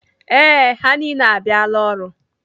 Ee, ha niile abịala ọrụ.